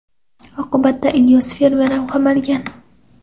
Oqibatda Ilyos fermer ham qamalgan.